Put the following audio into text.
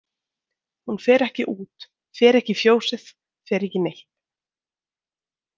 Hún fer ekki út, fer ekki í fjósið, fer ekki neitt.